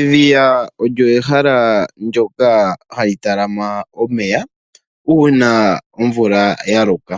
Edhiya olyo ehala ndoka ha li talama omeya uuna omvula ya loka.